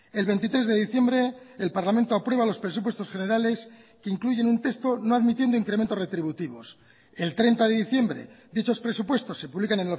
el veintitrés de diciembre el parlamento aprueba los presupuestos generales que incluyen un texto no admitiendo incrementos retributivos el treinta de diciembre dichos presupuestos se publican